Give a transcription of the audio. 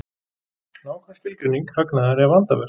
Nákvæm skilgreining hagnaðar er vandaverk.